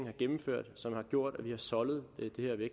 har gennemført som har gjort at vi har soldet